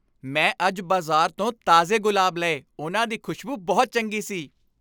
ਮੈਂ ਅੱਜ ਬਾਜ਼ਾਰ ਤੋਂ ਤਾਜ਼ੇ ਗੁਲਾਬ ਲਏ ਉਹਨਾਂ ਦੀ ਖ਼ੁਸ਼ਬੂ ਬਹੁਤ ਚੰਗੀ ਹੈ